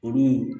Olu